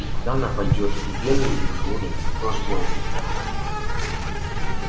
и куда она пойдёт в вены или в желудок тоже дело десятое